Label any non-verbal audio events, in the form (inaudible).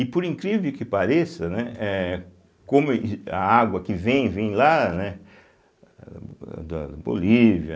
E por incrível que pareça, né, eh como (unintelligible) a água que vem, vem lá, né, âh da Bolívia,